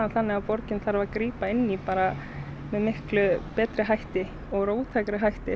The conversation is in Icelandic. þannig að borgin þarf að grípa inn í með miklu betri hætti og róttækari hætti